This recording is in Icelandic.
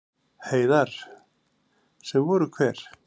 Heiðar: Sem voru hver?